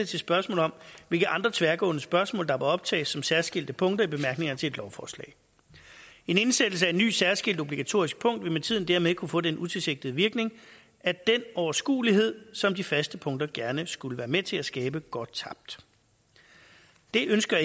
til spørgsmål om hvilke andre tværgående spørgsmål der må optages som særskilte punkter i bemærkningerne til et lovforslag en indsættelse af et nyt særskilt obligatorisk punkt vil med tiden dermed kunne få den utilsigtede virkning at den overskuelighed som de faste punkter gerne skulle være med til at skabe går tabt det ønsker